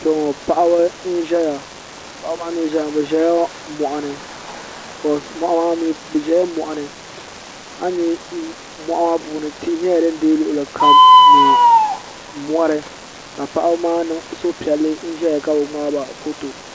paɣ' n ʒɛya paɣ' ba maa ʒɛla moɣini tihi n dei luɣili kam mori ka paɣ' ba maa niŋ suhipiɛlli ka ʒɛya ka bigbaba ƒɔto